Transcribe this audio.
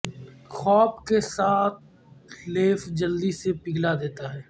خواب کے ساتھ لیف جلدی سے پگھلا دیتا ہے